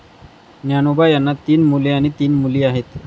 ज्ञानोबा यांना तीन मुले आणि तीन मुली आहेत.